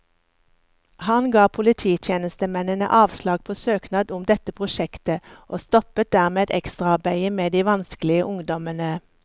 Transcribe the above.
Han ga polititjenestemennene avslag på søknad om dette prosjektet, og stoppet dermed ekstraarbeidet med de vanskelige ungdommene.